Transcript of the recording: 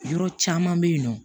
Yɔrɔ caman be yen nɔ